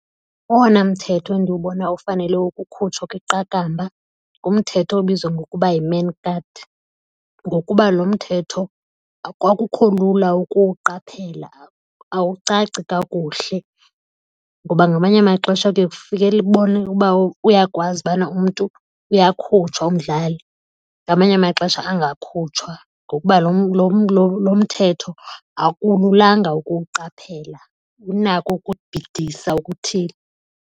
Owona mthetho endiwubona ufanele ukukhutshwa kwiqakamba ngumthetho obizwa ngokuba yi-man guard ngokuba lo mthetho akukho lula ukuwuqaphela, awucaci kakuhle. Ngoba ngamanye amaxesha kuye uba uyakwazi ubana umntu uyakhutshwa umdlali, ngamanye amaxesha angakhutshwa ngokuba lo mthetho akululanga ukuwuqaphela, unako ukubhidisa okuthile.